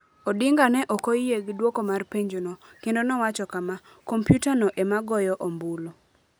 Odinga ne ok oyie gi dwoko mar penjono, kendo nowacho kama: "Kompyutano ema goyo ombulu".